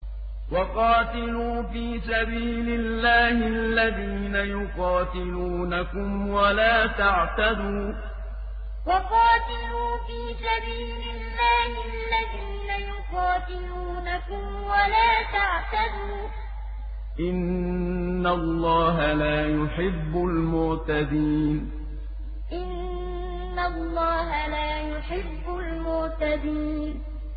وَقَاتِلُوا فِي سَبِيلِ اللَّهِ الَّذِينَ يُقَاتِلُونَكُمْ وَلَا تَعْتَدُوا ۚ إِنَّ اللَّهَ لَا يُحِبُّ الْمُعْتَدِينَ وَقَاتِلُوا فِي سَبِيلِ اللَّهِ الَّذِينَ يُقَاتِلُونَكُمْ وَلَا تَعْتَدُوا ۚ إِنَّ اللَّهَ لَا يُحِبُّ الْمُعْتَدِينَ